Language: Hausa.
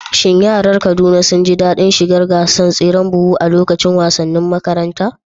Shin yaran Kaduna sun ji daɗin shiga gasar tseren buhu a lokacin wasannin makaranta?